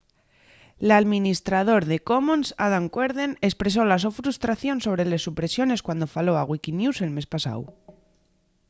l’alministrador de commons adam cuerden espresó la so frustración sobre les supresiones cuando faló a wikinews el mes pasáu